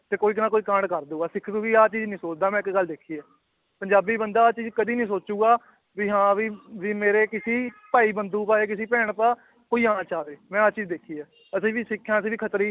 ਤੇ ਕੋਈ ਜਾਣਾ ਕੋਈ ਕਾਂਡ ਕਰ ਦਊਗਾ, ਸਿੱਖ ਕਦੇ ਆਹ ਚੀਜ਼ ਨੀ ਸੋਚਦਾ ਮੈਂ ਇੱਕ ਗੱਲ ਦੇਖੀ ਹੈ ਪੰਜਾਬੀ ਬੰਦਾ ਆਹ ਚੀਜ਼ ਕਦੇ ਨੀ ਸੋਚੇਗਾ ਵੀ ਹਾਂ ਵੀ, ਵੀ ਮੇਰੇ ਕਿਸੇ ਭਾਈ ਬੰਦੂ ਬਾਰੇ ਕਿਸੇ ਭੈਣ ਭਰਾ ਕੋਈ ਆ ਨਾ ਜਾਵੇ ਮੈਂ ਆਹ ਚੀਜ਼ ਦੇਖੀ ਹੈ ਅਸੀਂ ਵੀ ਸਿੱਖ ਹਾਂ ਅਸੀਂ ਖੱਤਰੀ